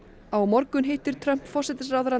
á morgun hittir Trump forsætisráðherrann